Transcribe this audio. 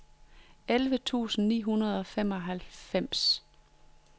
elleve tusind ni hundrede og treoghalvfems